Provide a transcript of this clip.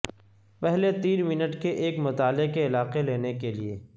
پہلے تین منٹ کے ایک مطالعہ کے علاقے لینے کے لئے